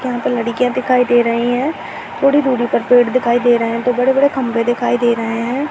यहां पे लड़कियां दिखाई दे रही हैं। थोड़ी दूरी पर पेड़ दिखाई दे रहे हैं। दो बड़े-बड़े खंभे दिखाई दे रहे हैं।